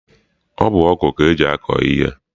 Ọ bụ ọgụ ka eji akọ ihe.